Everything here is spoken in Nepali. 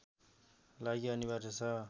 लागि अनिवार्य छ